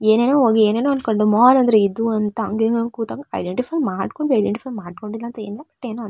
ಏನೇನೋ ಹೋಗಿ ಏನೇನೋ ಅಂದ್ಕೊಂಡು ಮಾಲ್ ಅಂದ್ರೆ ಇದು ಅಂದ್ರೆ ಇದು ಅಂತ ಅಂಗಡಿ ಮೇಲೆ ಕುತ್ಕೊಂಡು ಐಡೆಂಟಿಫೈ ಮಾಡ್ಕೊಂಡು ಐಡೆಂಟಿಫೈ ಮಾಡ್ಕೊಂಡಿಲ್ಲ ಅಂತೆನೂ ಅಂತೆನೂ ಇಲ್ಲ--